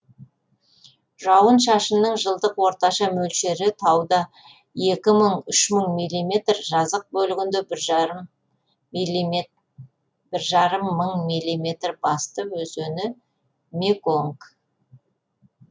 жауын шашынның жылдық орташа мөлшері тауда екі мың үш мың миллиметр жазық бөлігінде бір жарым мың миллиметр басты өзені меконг